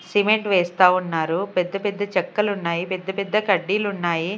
Cement వేస్తా ఉన్నారు పెద్ద పెద్ద చెక్కలు ఉన్నాయి పెద్ద పెద్ద కడ్డీలు ఉన్నాయి.